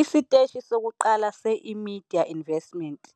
Isiteshi sokuqala se-eMedia Investments